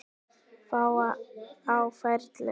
Fáir á ferli.